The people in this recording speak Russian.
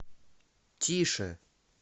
тише